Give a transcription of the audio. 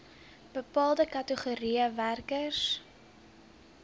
bepaalde kategorieë werkers